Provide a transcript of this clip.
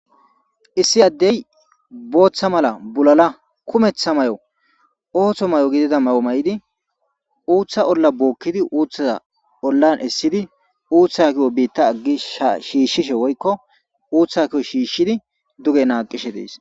issi addey booththa mala bulala kumeththa may7o ooththo may7o gidida may7o may7idi uuththa olla bookkidi uuthaa ollan essidi uuthakiyo biitta aggi sha shiishshishe woykko uuthakiyo shiishshidi duge naaqishe dees